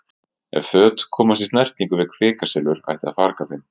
Ef föt komast í snertingu við kvikasilfur ætti að farga þeim.